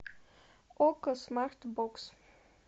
окко смарт бокс